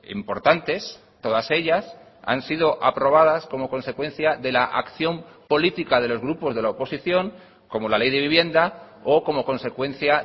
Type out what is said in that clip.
importantes todas ellas han sido aprobadas como consecuencia de la acción política de los grupos de la oposición como la ley de vivienda o como consecuencia